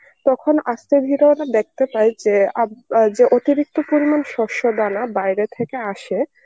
তখন আস্তে ধীরে ওরা দেখতে পায় যে আব~ বা~ যে অতিরিক্ত পরিমাণ শস্য দানা বাইরে থেকে আসে